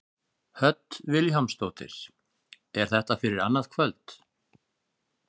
Hödd Vilhjálmsdóttir: Er þetta fyrir annað kvöld?